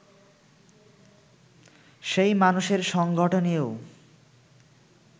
সেই মানসের সংগঠনেও